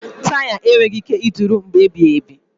Taya enweghị ike ịdịru mgbe ebighị ebi.